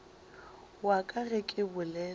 wa ka ge ke bolela